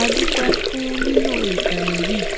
A dúpẹ́ fún lílo ìkànnì yìí